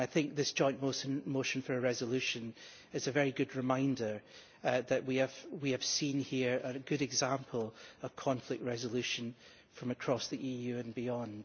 This joint motion for a resolution is a very good reminder that we have seen here a good example of conflict resolution from across the EU and beyond.